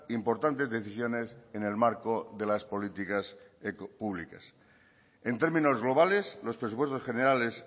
importantes decisiones en el marco de las políticas públicas en términos globales los presupuestos generales